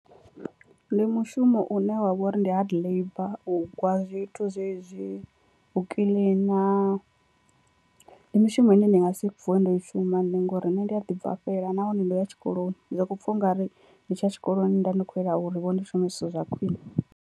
Ndi mushumo une wa vha uri ndi hard labour u gwa zwithu zwezwi, u kiḽina ndi mishumo ine ndi nga si vuwe ndo i shuma nṋe ngori nṋe ndi a ḓi bvafhela nahone ndo ya tshikoloni ndi soko pfha ungari ndi tshi ya tshikoloni nda ndi kho yela uri vho ndi shume zwithu zwa khwiṋe.